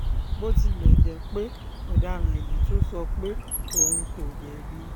bó tilẹ̀ jẹ́ pé ọ̀daràn yìí tún sọ pé òun kò jẹ̀bi